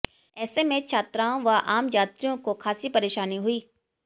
ऐसे में छात्राओं व आम यात्रियों को खासी परेशानी हुई